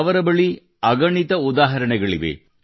ಅವರ ಬಳಿ ಅಗಣಿತ ಉದಾಹರಣೆಗಳಿವೆ